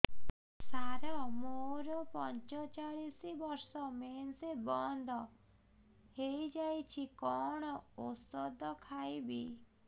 ସାର ମୋର ପଞ୍ଚଚାଳିଶି ବର୍ଷ ମେନ୍ସେସ ବନ୍ଦ ହେଇଯାଇଛି କଣ ଓଷଦ ଖାଇବି